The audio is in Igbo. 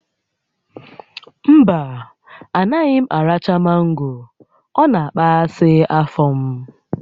Mba, anaghị m aracha mango, ọ na-akpaghasị afọ m